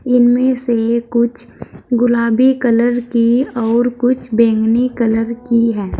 इनमें से कुछ गुलाबी कलर की और कुछ बैंगनी कलर की है।